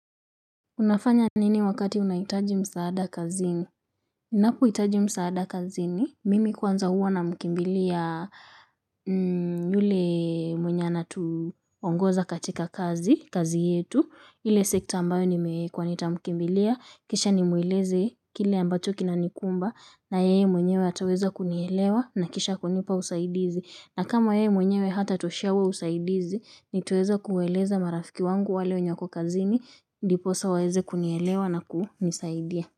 Unafanya nini wakati unahitaji msaada kazini? Ninapo hitaji msaada kazini, mimi kwanza huwa namkimbilia yule mwenye ana tuongoza katika kazi, kazi yetu. Ile sekta ambayo nimewekwa nitamkimbilia, kisha nimueleze kile ambacho kina nikumba, na yeye mwenyewe ataweza kunielewa, na kisha kunipa usaidizi. Na kama ye mwenyewe hatatoshea huo usaidizi, nitaweza kuwaeleza marafiki wangu wale wenye wako kazini, ndiposa waweze kunielewa na kunisaidia.